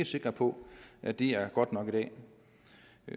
sikre på at det er godt nok i dag